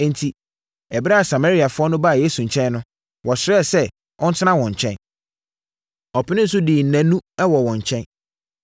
Enti, ɛberɛ a Samariafoɔ no baa Yesu nkyɛn no, wɔsrɛɛ sɛ ɔntena wɔn nkyɛn. Ɔpenee so dii nnanu wɔ wɔn nkyɛn.